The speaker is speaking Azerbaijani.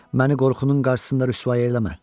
Məni qorxunun qarşısında rüsvay eləmə.